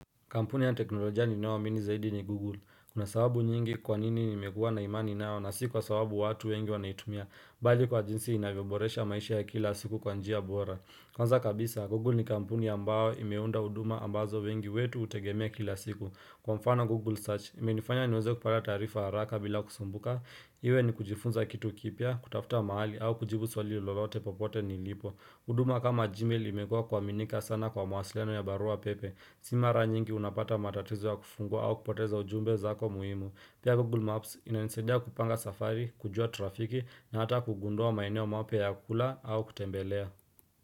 Kampuni ya teknolojia ninayo amini zaidi ni Google. Kuna sababu nyingi kwa nini nimekua na imani nao na si kwa sababu watu wengi wanaitumia, bali kwa jinsi inavyoboresha maisha ya kila siku kwa njia bora. Kwanza kabisa, Google ni kampuni ambayo imeunda huduma ambazo wengi wetu hutegemea kila siku. Kwa mfano Google Search, imenifanya niweze kupata taarifa haraka bila kusumbuka, iwe ni kujifunza kitu kipya, kutafuta mahali au kujibu swali lolote popote nilipo. Huduma kama Gmail imekua kuaminika sana kwa mawasiliano ya barua pepe Si mara nyingi unapata matatizo ya kufungua au kupoteza ujumbe zako muhimu Pia Google Maps inanisadia kupanga safari, kujua trafiki na hata kugundua maeneo mapya ya kula au kutembelea.